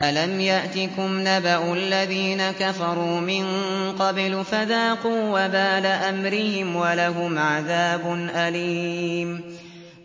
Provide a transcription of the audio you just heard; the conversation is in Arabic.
أَلَمْ يَأْتِكُمْ نَبَأُ الَّذِينَ كَفَرُوا مِن قَبْلُ فَذَاقُوا وَبَالَ أَمْرِهِمْ وَلَهُمْ عَذَابٌ أَلِيمٌ